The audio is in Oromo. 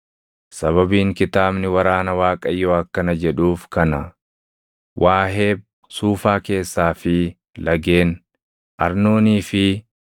Sababiin Kitaabni Waraana Waaqayyoo akkana jedhuuf kana: “Waaheb Suufaa keessaa fi lageen, Arnoonii fi